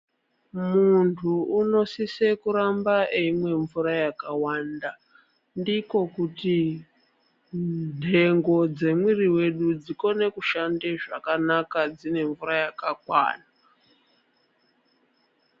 Muntu unosise kuramba eyimwe mvura yakawanda. Ndiko kuti nhengo dzemwiri wedu dzikone kushande zvakanaka, dzinemvura yakakwana.